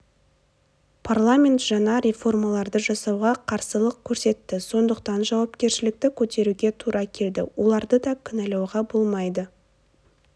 парламент жаңа реформаларды жасауға қарсылық көрсетті сондықтан жауапкершілікті көтеруге тура келді оларды ды кінәлауға болмайды